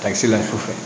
Ka se la sufɛ